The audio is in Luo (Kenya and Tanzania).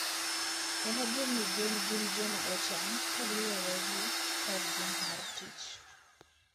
En adier ni gwen gin joma ochan kaluwore gi kargi mar tich.